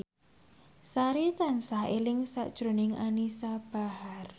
Sari tansah eling sakjroning Anisa Bahar